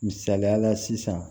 Misaliyala sisan